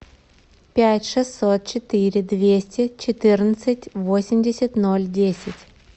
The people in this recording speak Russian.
пять шестьсот четыре двести четырнадцать восемьдесят ноль десять